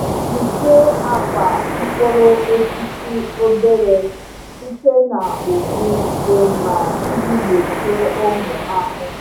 Kpuchie akwa mkpụrụ osisi obere (nursery) site na ụgbụ dị mma iji gbochie ụmụ ahụhụ.